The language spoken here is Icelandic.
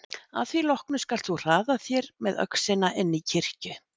Að því loknu skalt þú hraða þér með öxina inn í kirkju.